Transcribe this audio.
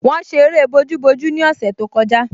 Wọ́n ṣe eré bojúbojú ní ọ̀sẹ̀ tó kọjá